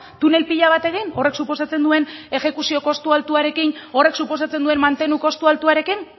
tunel pila bat egin horrek suposatzen duen exekuzio koste altuarekin horrek suposatzen duen mantenu kostu altuarekin